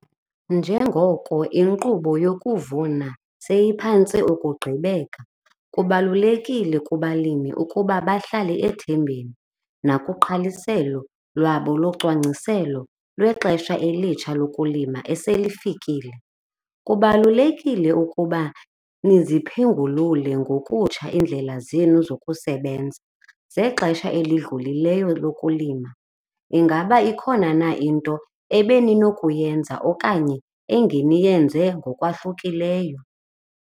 Njengoko inkqubo yokuvuna seyiphantse ukugqibeka, kubalulekile kubalimi ukuba bahlale ethembeni nakugqaliselo lwabo locwangciselo lwexesha elitsha lokulima eselifikile. Kubalulekile ukuba niziphengulule ngokutsha iindlela zenu zokusebenza zexesha elidlulileyo lokulima. Ingaba ikhona na into ebeninokuyenza okanye engeniyenze ngokwahlukileyo?